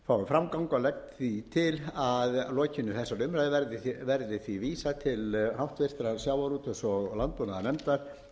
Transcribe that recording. framgang og legg því til að að lokinni þessari umræðu verði því vísað til háttvirtrar sjávarútvegs og landbúnaðarnefndar